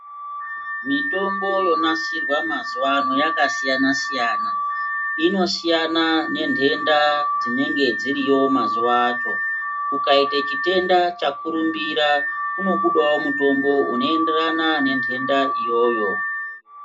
Mitombo yonasirwa mazuva ano yakasiyana siyana. Inosiyana ngenhenda dzinenge dziriyo mazuva acho .Kukaita chitenda chakurumbira kunobudawo mutombo unoenderana nenhenda iyoyo.